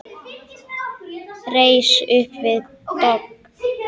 Reis upp við dogg.